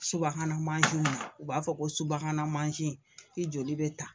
Subahana mansinw na u b'a fɔ ko subahana mansin joli bɛ ta